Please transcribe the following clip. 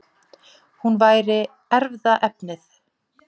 Hún væri erfðaefnið.